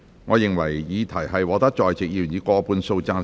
我認為議題獲得在席議員以過半數贊成。